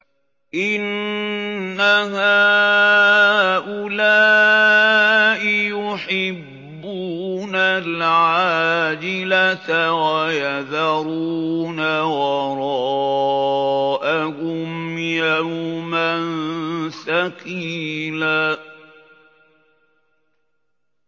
إِنَّ هَٰؤُلَاءِ يُحِبُّونَ الْعَاجِلَةَ وَيَذَرُونَ وَرَاءَهُمْ يَوْمًا ثَقِيلًا